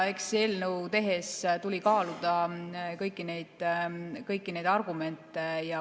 Eks eelnõu tehes tuli kaaluda kõiki neid argumente.